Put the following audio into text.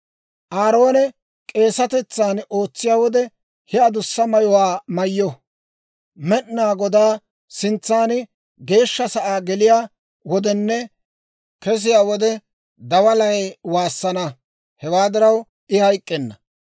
Aaroone k'eesatetsan ootsiyaa wode, ha adussa mayuwaa mayyo; Med'inaa Godaa sintsa Geeshsha sa'aa geliyaa wodenne kesiyaa wode, dawalay waassana. Hewaa diraw I hayk'k'enna.